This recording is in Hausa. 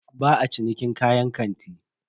Ba a cinikin kayan kanti.